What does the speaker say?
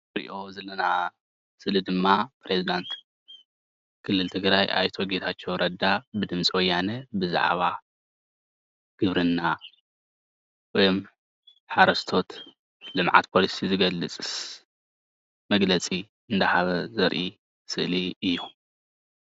እዚ እንሪኦ ዘለና ስእሊ ድማ ፕረዚዳንት ክልል ትግርይ ኣይተ ጌታቸው ረዳ ንድምፂ ወያነ ብዛዕባ ግብርና ወይ ሓረስቶት ልምዓት ፖሊሲ ዝገልፅ መግለፂ እንዳሃበ ዘርኢ ስእሊ እዩ፡፡